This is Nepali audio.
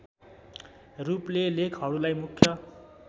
रूपले लेखहरूलाई मुख्य